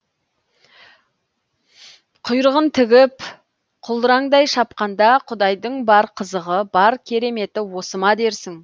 құйрығын тігіп құлдыраңдай шапқанда құдайдың бар қызығы бар кереметі осы ма дерсің